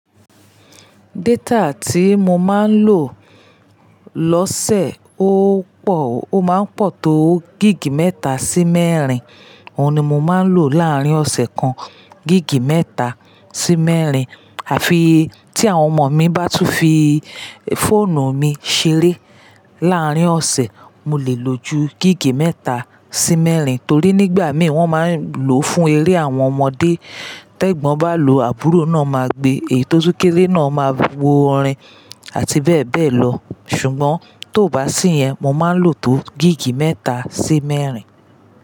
Data tí mo máa ń lò lọ́sẹ̀ ó pọ̀, ó máa ń pọ̀ tó gig mẹ́ta sí mẹ́rin. Òun ni mo máa ń lò láàárín ọ̀sẹ̀ kan, gig mẹ́ta sí mẹ́rin. Àfi tí àwọn ọmọ mi bá tún fi fóònù mi ṣeré láàárín ọ̀sẹ̀, mo lè lo ju gig mẹ́ta sí mẹ́rin. Torí nígbà mí wọ́n máa ń lò fún eré àwọn ọmọdé. Tẹ́gbọ́n bá lò, àbúrò náà máa gbe, èyi to tún kéré náà máa wo orin àti bẹ́ẹ̀ bẹ́ẹ̀ lọ. Ṣùgbọ́n tóo bá sí yẹn, mo máa ń lò tó gig mẹ́ta sí mẹ́rin.